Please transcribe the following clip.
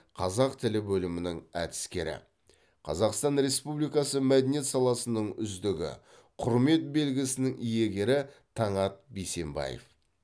қазақ тілі бөлімінің әдіскері қазаұстан республикасы мәдениет саласының үздігі құрметті белгісінің иегері таңат бейсенбаев